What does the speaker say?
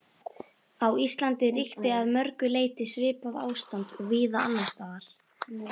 Á Íslandi ríkti að mörgu leyti svipað ástand og víða annars staðar.